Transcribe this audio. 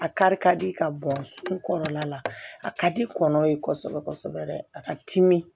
A kari ka di ka bɔn kɔrɔla la a ka di kɔnɔ ye kosɛbɛ kosɛbɛ dɛ a ka timi